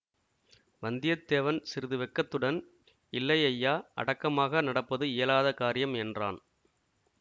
வந்தியத்தேவன் சிறிது வெட்கத்துடன் இல்லை ஐயா அடக்கமாக நடப்பது இயலாத காரியம் என்றான்